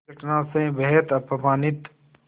इस घटना से बेहद अपमानित